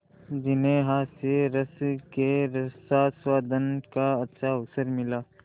जिन्हें हास्यरस के रसास्वादन का अच्छा अवसर मिला